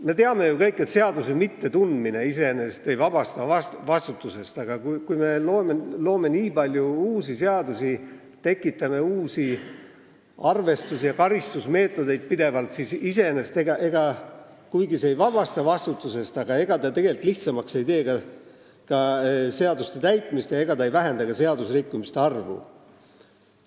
Me teame kõik, et seaduse mittetundmine iseenesest ei vabasta vastutusest, aga kui me loome nii palju uusi seadusi, tekitame pidevalt uusi arvestus- ja karistusmeetodeid, siis kuigi see ei vabasta vastutusest, ega see seaduste täitmist lihtsamaks ei tee ja ei vähenda ka seadusrikkumiste arvu.